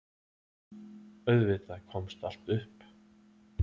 Auðvitað komst allt upp.